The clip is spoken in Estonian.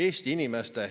Austatud esimees!